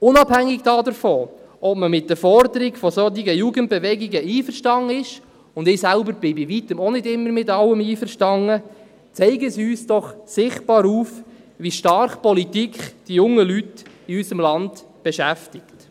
Unabhängig davon, ob man mit der Forderung solcher Jugendbewegungen einverstanden ist – ich selbst bin bei Weitem auch nicht immer mit allem einverstanden –, zeigen sie uns doch sichtbar auf, wie stark Politik die jungen Leute in unserm Land beschäftigt.